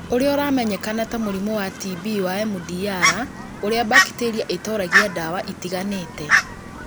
ũrĩa ũramenyekana ta mũrimũ wa TB wa MDR ũrĩa bacteria itoragia ndawa itiganĩte.